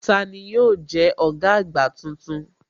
Tani yóò jẹ́ ọ̀gá àgbà tuntun?